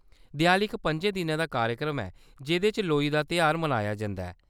देआली इक पं'जें दिनें दा कार्यक्रम ऐ जेह्‌‌दे च लोई दा तेहार मनाया जंदा ऐ।